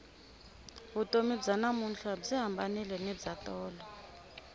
vutomi bya namuntlha byi hambanile ni bya tolo